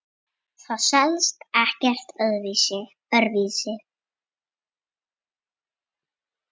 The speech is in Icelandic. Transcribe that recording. Það selst ekkert öðru vísi.